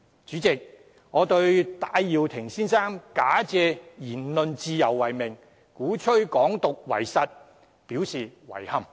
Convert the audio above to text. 主席，我對於戴耀廷先生假借言論自由為名，鼓吹"港獨"為實表示遺憾。